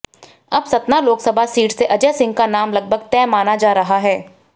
अब सतना लोकसभा सीट से अजय सिंह का नाम लगभग तय माना जा रहा है